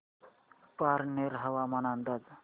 पारनेर हवामान अंदाज